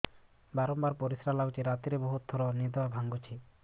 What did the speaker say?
ବାରମ୍ବାର ପରିଶ୍ରା ଲାଗୁଚି ରାତିରେ ବହୁତ ଥର ନିଦ ଭାଙ୍ଗୁଛି